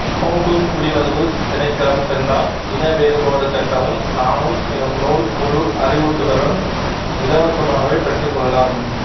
Hong Kong குடிவரவு திணைக்களம் சென்றால் இன வேறுபாடு சட்டமும் நானும் எனும் நூல் முழு அறிவுறுத்தலுடன் இலவசமாகவே பெற்றுக்கொள்ளலாம்